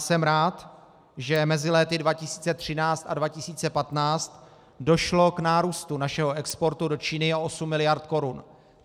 Jsem rád, že mezi léty 2013 a 2015 došlo k nárůstu našeho exportu do Číny o 8 miliard korun.